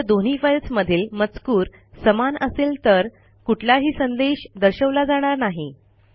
जर दोन्ही फाईल्समधील मजकूर समान असेल तर कुठलाही संदेश दर्शवला जाणार नाही